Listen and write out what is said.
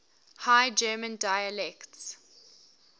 high german dialects